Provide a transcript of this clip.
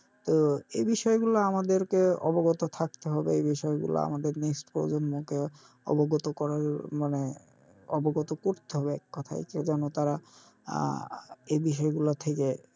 তো এই বিষয় গোল আমাদের কে অবগ্যাত থাকতে হবে এই বিষয় গুলো আমাদের next প্রজন্ম কে অবগত করার মানে অবগত করতে হবে কথায় কেউ যেন তারা আহ এই বিষয় গুলো থেকে,